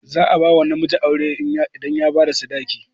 Za a bawa namiji aure idan ya bada sadaki